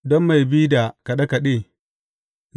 Don mai bi da kaɗe kaɗe.